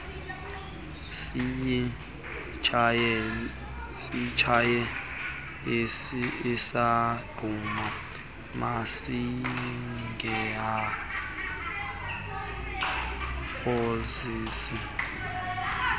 siyitshaye isaqhuma masingaphozisi